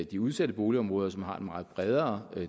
de udsatte boligområder som har en meget bredere